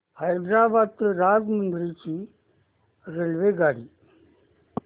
हैदराबाद ते राजमुंद्री ची रेल्वेगाडी